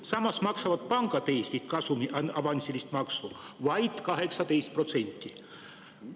Samas maksavad pangad Eestis kasumi avansilist maksu vaid 18%.